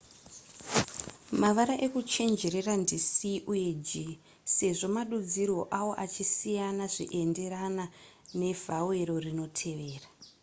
mavara ekuchenjerera ndi c uye g sezvo madudzirwo awo achisiyana zvienderana nevhawero rinotevera